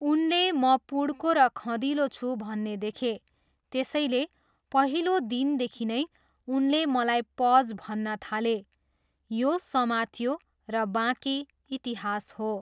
उनले म पुड्को र खँदिलो छु भन्ने देखे, त्यसैले, पहिलो दिनदेखि नै उनले मलाई 'पज' भन्न थाले। यो समातियो, र बाँकी इतिहास हो।